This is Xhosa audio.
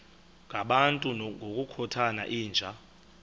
ngabantu ngokukhothana yinja